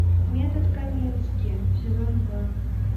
метод камински сезон два